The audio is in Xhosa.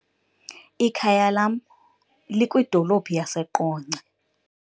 Ikhaya lam likwidolophu yaseQonce.